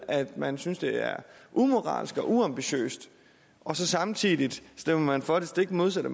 at man synes det er umoralsk og uambitiøst og så samtidig stemmer man for det stik modsatte